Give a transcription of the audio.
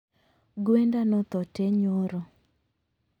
Gwenda nothoo tee nyoro